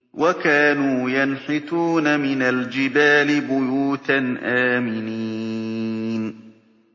وَكَانُوا يَنْحِتُونَ مِنَ الْجِبَالِ بُيُوتًا آمِنِينَ